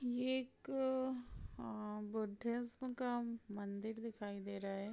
ये एक अअ बुद्धेश्म का मंदिर है।